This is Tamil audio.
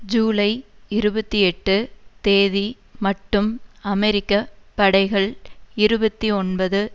ஜூலை இருபத்தி எட்டு தேதி மட்டும் அமெரிக்க படைகள் இருபத்தி ஒன்பது